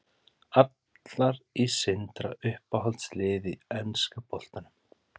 Allar í Sindra Uppáhalds lið í enska boltanum?